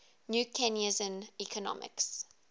new keynesian economics